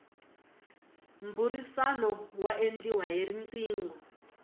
mbhurisano wa endliwa hi rqingho